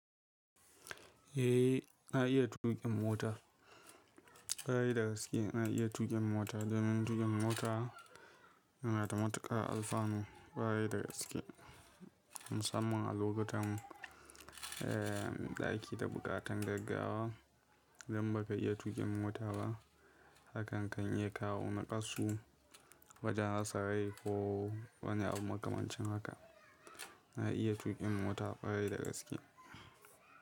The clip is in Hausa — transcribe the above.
Eh na iya tuƙin mota, ƙwarai da gaske na iya tuƙin mota domin tuƙin mota yana da matuƙar alfanu ƙwarai da gaske musamman a lokutan, eh, ɗaki da buƙatar gaggawa idan baka iya tuƙin mota ba hakan kan iya kawo nakasu wajen hatsari ko wani abu makamancin haka. Na iya tuƙin mota ƙarai da gaske.